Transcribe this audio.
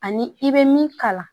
Ani i bɛ min kalan